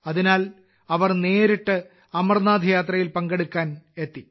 അതിനാൽ അവർ നേരിട്ട് അമർനാഥ് യാത്രയിൽ പങ്കെടുക്കാൻ എത്തി